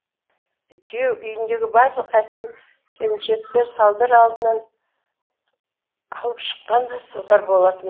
күйеу үйіндегі барлық әсем келіншектерді салдар алдынан алып шыққан да солар болатын